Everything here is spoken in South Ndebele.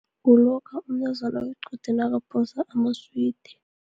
Kulokha umntazana wequde, nakaphosa amaswidi.